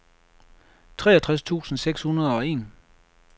treogtres tusind seks hundrede og en